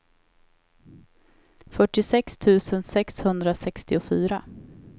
fyrtiosex tusen sexhundrasextiofyra